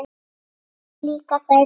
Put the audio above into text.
Mér líka þær vel.